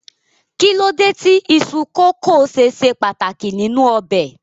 Kí ló dé tí iṣu kókò ṣe ṣe pàtàkì nínú ọbẹ̀?